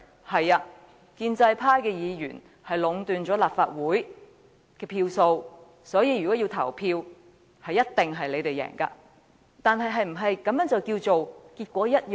沒錯，建制派議員壟斷了立法會的票數，每次投票表決，他們一定會勝利，但這是否"結果一樣"？